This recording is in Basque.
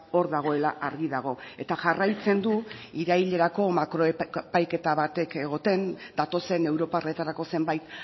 hor dagoela argi dago eta jarraitzen du irailerako makro epaiketa batek egoten datozen europarretarako zenbait